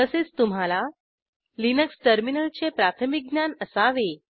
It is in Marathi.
तसेच तुम्हाला लिनक्स टर्मिनलचे प्राथमिक ज्ञान असावे